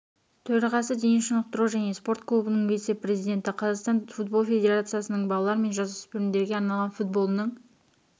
төрағасы дене шынықтыру және спорт клубының вице-президенті қазақстан футбол федерациясының балалар мен жасөспірімдерге арналған футболының